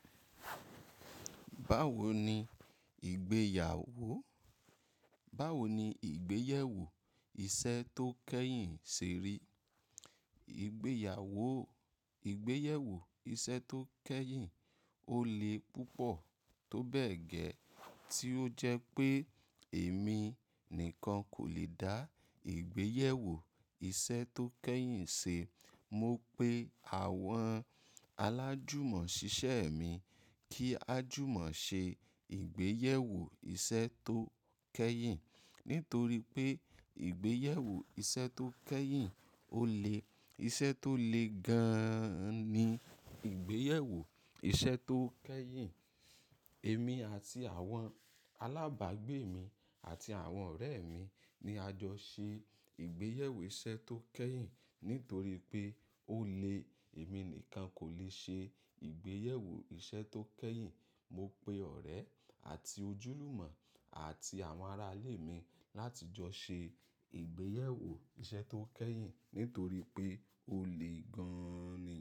Báwo ni ìgbéyàwó? Báwo ni ìgbéyẹ̀wò iṣẹ́ tó kẹ́yìn ṣe rí? Ìgbéyàwó, ìgbéyẹ̀wò iṣẹ́ tó kẹ́yìn ó le púpọ̀ tó bẹ́ẹ̀ gẹ́, tí ó jẹ́ pé èmi nìkan kò lè dá ìgbéyẹ̀wò iṣẹ́ tó kẹ́yìn ṣe. Mo pe àwọn alájùmọ̀ ṣiṣẹ́ mi kí a jùmọ̀ ṣe ìgbéyẹ̀wò iṣẹ́ tó kẹ́yìn. Nítorí pé ìgbéyẹ̀wò iṣẹ́ tó kẹ́yìn ó le, iṣẹ́ tó le gan-an ni ìgbéyẹ̀wò iṣẹ́ tó kẹ́yìn. Èmi àti àwọn alábàágbé mi àti àwọn ọ̀rẹ́ mi ni a jọ ṣe ìgbéyẹ̀wò iṣẹ́ tó kẹ́yìn. Nítorí pé ó le, èmi nìkan kò lè ṣe ìgbéyẹ̀wò iṣẹ́ tó kẹ́yìn. Mo pe ọ̀rẹ́ àti ojúlùmọ̀ àti àwọn ará ilé mi láti jọ ṣe ìgbéyẹ̀wò iṣẹ́ tó kẹ́yìn nítorí pé ó le gan-an ni.